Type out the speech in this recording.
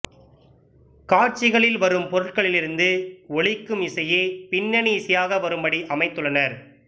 காட்சிகளில் வரும் பொருட்களிலிருந்து ஒலிக்கும் இசையே பின்னணி இசையாக வரும்படி அமைத்துள்ளனர்